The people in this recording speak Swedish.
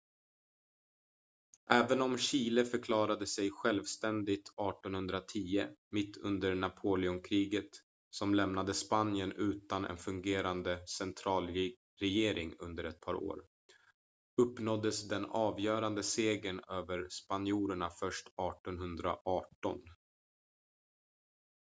även om chile förklarade sig självständigt 1810 mitt under napoleonkriget som lämnade spanien utan en fungerande centralregering under ett par år uppnåddes den avgörande segern över spanjorerna först 1818